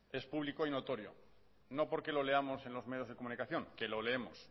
es público y notorio no porque lo leamos en los medios de comunicación que lo leemos